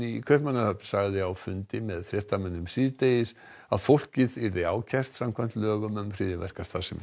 í Kaupmannahöfn sagði á fundi með fréttamönnum síðdegis að fólkið yrði ákært samkvæmt lögum gegn hryðjuverkastarfsemi